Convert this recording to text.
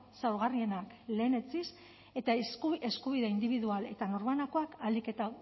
zaurgarrienak lehenetsiz eta eskubide indibidual eta norbanakoak ahalik eta